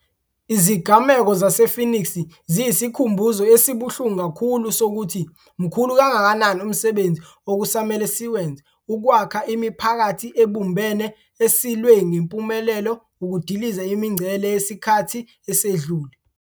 Izigameko zase-Phoenix ziyisikhumbuzo esibuhlungu kakhulu sokuthi mkhulu kangakanani umsebenzi okusamele siwenze ukwakha imiphakathi ebumbene esilwe ngempumelelo ukudiliza imingcele yesikhathi esedlule.